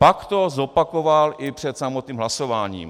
Pak to zopakoval i před samotným hlasováním.